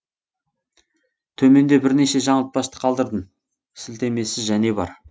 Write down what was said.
төменде бірнеше жаңылтпашты қалдырдым сілтемесі және бар